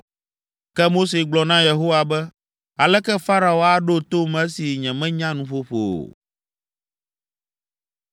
Ke Mose gblɔ na Yehowa be, “Aleke Farao aɖo tom esi nyemenya nuƒoƒo o?”